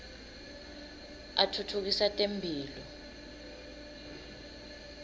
atfutfukisa temphilo